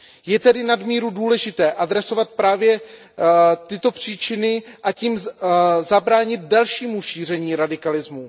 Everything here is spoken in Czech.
Je tedy nadmíru důležité adresovat právě tyto příčiny, a tím zabránit dalšímu šíření radikalismu.